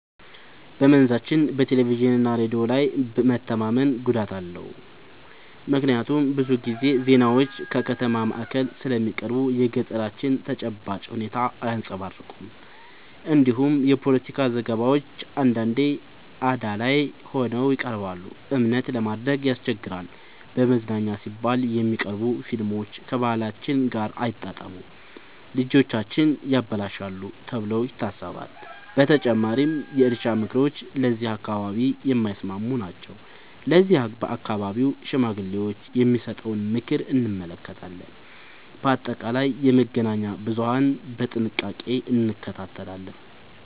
በመንዛችን በቴሌቪዥንና ሬዲዮ ላይ መተማመን ጉዳት አለው፤ ምክንያቱም ብዙ ጊዜ ዜናዎች ከከተማ ማዕከል ስለሚቀርቡ የገጠራችንን ተጨባጭ ሁኔታ አያንጸባርቁም። እንዲሁም የፖለቲካ ዘገባዎች አንዳንዴ አዳላይ ሆነው ይቀርባሉ፤ እምነት ለማድረግ ያስቸግራል። ለመዝናኛ ሲባል የሚቀርቡ ፊልሞች ከባህላችን ጋር አይጣጣሙም፣ ልጆቻችንን ያበላሻሉ ተብሎ ይታሰባል። በተጨማሪም የእርሻ ምክሮች ለዚህ አካባቢ የማይስማሙ ናቸው፤ ለዚህም በአካባቢው ሽማግሌዎች የሚሰጠውን ምክር እንመካለን። በአጠቃላይ የመገናኛ ብዙሀንን በጥንቃቄ እንከታተላለን።